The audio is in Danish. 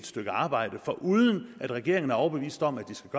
stykke arbejde foruden at regeringen er overbevist om at hvis